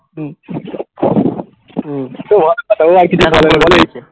হম হম